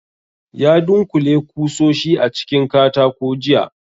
Ya dunkule kusoshi a cikin katako jiya